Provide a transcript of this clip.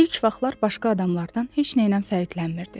İlk vaxtlar başqa adamlardan heç nəylə fərqlənmirdi.